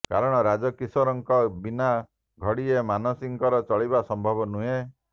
କାରଣ ରାଜକିଶୋର ଙ୍କ ବିନା ଘଡିଏ ମାନସୀଙ୍କର ଚଳିବା ସମ୍ଭବ ନୁହେଁ